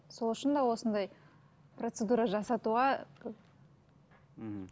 сол үшін де осындай процедура жасатуға мхм